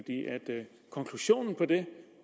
konklusionen på det